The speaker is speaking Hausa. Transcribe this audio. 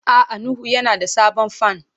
A'a Nuhu yana da sabon fan.